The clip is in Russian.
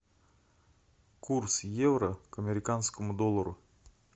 курс евро к американскому доллару